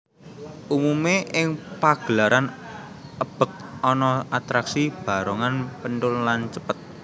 Umumé ing pagelaran ebeg ana atraksi barongan penthul lan cepet